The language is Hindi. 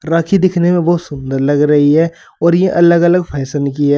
राखी दिखने में बहुत सुंदर लग रही है और ये अलग अलग फैशन की है।